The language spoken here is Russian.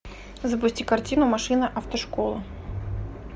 запусти картину машина автошкола